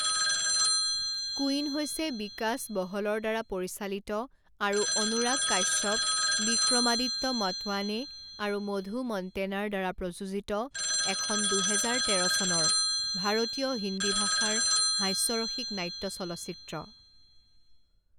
Queen হৈছে বিকাশ বহলৰ দ্বাৰা পৰিচালিত আৰু অনুৰাগ কাশ্যপ, বিক্ৰমাদিত্য মটৱানে আৰু মধু মন্তেনাৰ দ্বাৰা প্ৰযোজিত এখন দুহেজাৰ তেৰ চনৰ ভাৰতীয় হিন্দী ভাষাৰ হাস্যৰসিক নাট্য চলচ্চিত্ৰ।